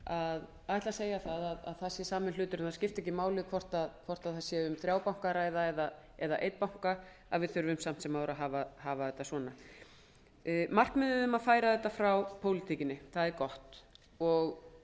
að það sé sami hluturinn það skipti ekki máli hvort um sé að ræða þrjá banka eða einn að við þurfum samt sem áður að hafa þetta svona markmiðið um að færa þetta frá pólitíkinni er gott hæstvirtur